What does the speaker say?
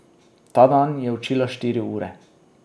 Ta dan je učila štiri ure.